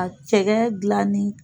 a cɛkɛ gilan ni